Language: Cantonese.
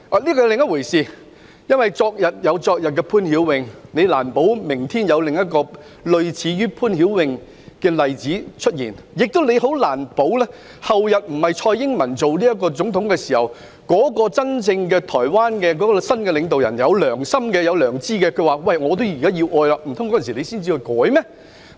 這是另一回事，因為昨日有昨日的潘曉穎，難保明天有另一個類似潘曉穎的個案出現，亦難保後天不是由蔡英文擔任總統時，台灣的新領導人真正有良心，願意接收疑犯，難道我們那時才修例嗎？